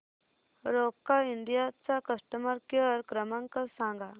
Roca India चा customer care क्रमांक सांगा